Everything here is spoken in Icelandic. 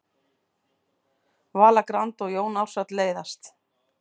Vala Grand og Jón Ársæll leiðast